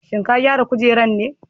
Shin ka gyara kujerar ne?